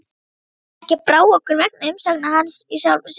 Ekki brá okkur vegna umsagna hans í sjálfu sér.